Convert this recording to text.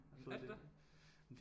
Er det det